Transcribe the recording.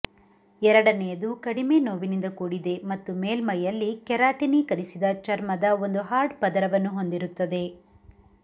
ಎರಡನೆಯದು ಕಡಿಮೆ ನೋವಿನಿಂದ ಕೂಡಿದೆ ಮತ್ತು ಮೇಲ್ಮೈಯಲ್ಲಿ ಕೆರಾಟಿನೀಕರಿಸಿದ ಚರ್ಮದ ಒಂದು ಹಾರ್ಡ್ ಪದರವನ್ನು ಹೊಂದಿರುತ್ತದೆ